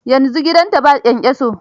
Yanzu gidanta ba kyankyaso.